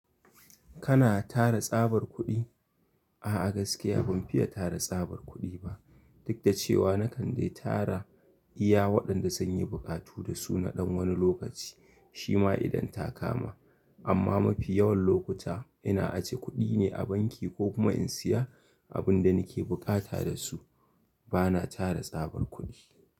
Kana tara tsabar kuɗi? A'a gaskiya ban fiye tara tsabar kuɗi ba. Duk da cewa na kan dai tara iya waɗanda zanyi buƙatu da su na ɗan wani lokaci shima idan ta kama. Amma mafi yawan lokuta ina aje kuɗi ne a banki ko kuma in siya abinda nake bukata dasu. Bana tara tsabar kuɗi.